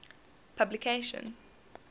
publication